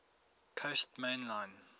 coast main line